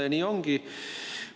Ja nii ongi.